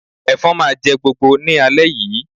Ẹ̀fọn máa jẹ́ gbogbo ní alẹ́ yìí